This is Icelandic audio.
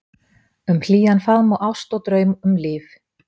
Um hlýjan faðm og ást og draum, um líf